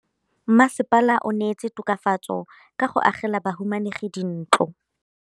Mmasepala o neetse tokafatsô ka go agela bahumanegi dintlo.